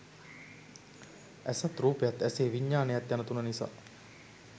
ඇසත් රූපයත් ඇසේ විඥානයත් යන තුන නිසා